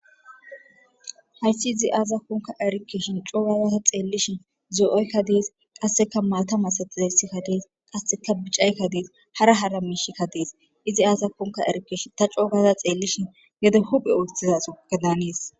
hayssi izi aasa konka erikeshin coogazata xeellishin zoo7oykka dees qasseka maata masatiza yssikka dees qasseka bicaykka dees hara hara miishikka dees izi aasa konka erikeshi ta coogaza xeellishin yede huphe oottizaso ga daanees